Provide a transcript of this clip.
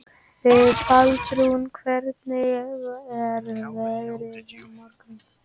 Baldrún, hvernig er veðrið á morgun?